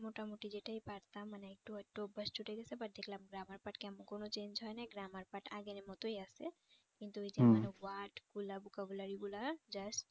মোটামুটি যেটাই পারতাম মানে একটু একটু অভ্যাস ছুটে গেছে but দেখলাম grammar part কেমন কোন change হয় নাই grammar part আগের মতই আছে কিন্তু এইযে word গুলা vocabulary গুলা হ্যাঁ just